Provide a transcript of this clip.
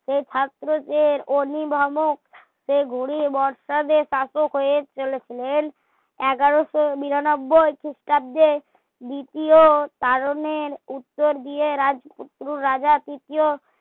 সা ছাত্র দের অভিভাবক সা গুরু বর্ষা দের শাসক হয়ে চলেছিলেন এগারোশো বিরানব্বই খ্রিস্টাব্দে দ্বিতীয় কারণে উত্তর দিয়ে রাজা তৃতীয়